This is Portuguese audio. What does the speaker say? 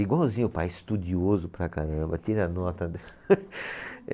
Igualzinho o pai, estudioso para caramba, tira a nota de